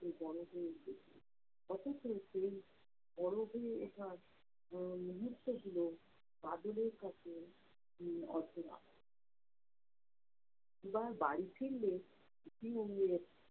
সে বড় হয়েছে। অথচ সেই বড় হয়ে ওঠার উম মুহূর্ত গুলো বাদলের কাছে উম অচেনা। এবার বাড়ী ফিরলে পিউ এর